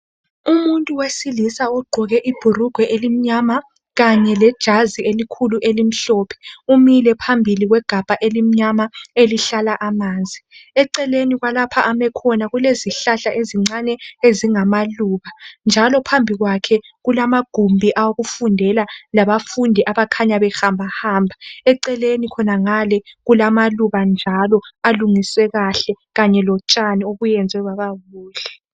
Umuntu wesilisa ogqoke ibhulugwe elimnyama kanye lejazi elikhulu elimhlophe umile phambili kwegabha elimnyama elihlala amanzi eceleni kwalapha ome khona kulezihlahla ezincane ezingamaluba njalo phambi kwakhe kulamagumbi okufundela labafundi abakhanya behamba hamba eceleni khonangale kulamaluba njalo alungiswe kahle kanye lotshani obuyenzwe bababuhle.